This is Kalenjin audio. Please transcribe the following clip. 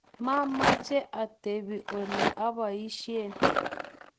mameche atebe ole aboisien